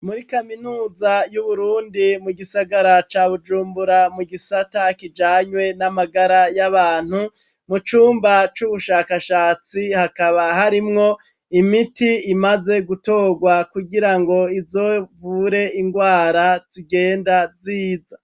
Muri kaminuza yuburundi mu Gisagara ca Bujumbura mu gisata kijanye na magara yabantu mucumba cubushakashatsi Hakaba harimwo imiti imaze gutorwa kugirango izovure ingwara zigenda .